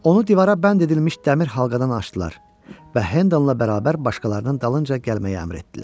Onu divara bənd edilmiş dəmir halqadan açdılar və Hendlnla bərabər başqalarının dalınca gəlməyi əmr etdilər.